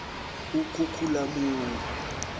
ukhukhulamungu